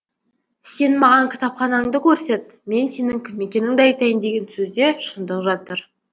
сен маған кітапханаңды көрсет мен сенің кім екеніңді айтайын деген сөзде шындық жатыр